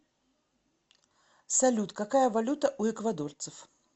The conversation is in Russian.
салют какая валюта у эквадорцев